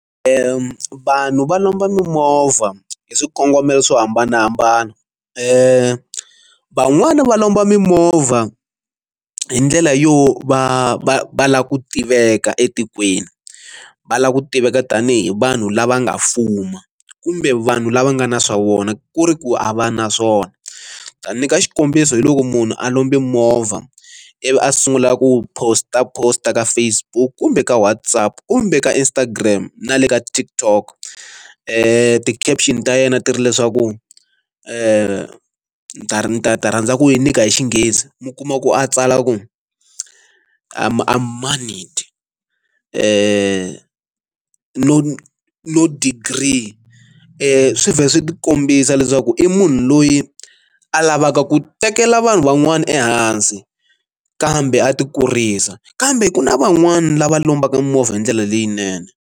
vanhu va lomba mimovha hi swikongomelo swo hambanahambana van'wani va lomba mimovha hi ndlela yo va va va lava ku tiveka etikweni va lava ku tiveka tanihi vanhu lava nga fuma kumbe vanhu lava nga na swa vona ku ri ku a va naswona ta nyika xikombiso hi loko munhu a lomba movha ivi a sungula ku post a post a ka Facebook kumbe ka WhatsApp kumbe ka Instagram na le ka TikTok ti-caption ta yena ti ri leswaku ni ta ta ta rhandza ku yi nyika hi xinghezi mi kuma ku a tsala ku I am monied no degree swi vhela swi kombisa leswaku i munhu loyi a lavaka ku tekela vanhu van'wana ehansi kambe a ti kurisa kambe ku na van'wani lava lombaka movha hi ndlela leyinene.